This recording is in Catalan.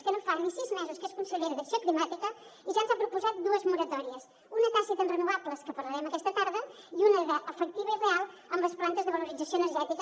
que no fa ni sis mesos que és consellera d’acció climàtica i ja ens ha proposat dues moratòries una de tàcita en renovables que en parlarem aquesta tarda i una d’efectiva i real amb les plantes de valorització energètica